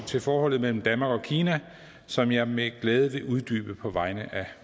til forholdet mellem danmark og kina som jeg med glæde vil uddybe på vegne af